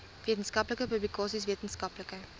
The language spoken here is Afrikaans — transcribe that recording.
wetenskaplike publikasies wetenskaplike